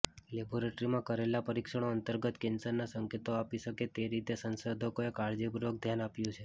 લેબોરેટરીમાં કરેલા પરીક્ષણો અંતર્ગત કેન્સરના સંકેતો આપી શકે તે રીતે સંશોધકોએ કાળજીપૂર્વક ધ્યાન આપ્યું છે